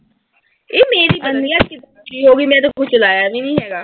ਯਰ ਮੇਰੀ ਮੈਂ ਤਾਂ ਕੁਸ਼ ਚਲਾਇਆ ਵੀ ਨੀਂ ਹੈਗਾ।